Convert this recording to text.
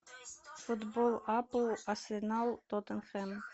футбол апл арсенал тоттенхэм